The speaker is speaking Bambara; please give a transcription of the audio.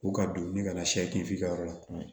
U ka don ni ka na siyɛfin f'i ka yɔrɔ la